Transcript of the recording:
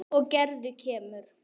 Og Gerður kemur.